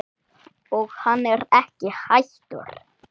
Og hann er ekki hættur.